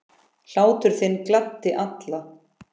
Hlátur þinn gladdi alla.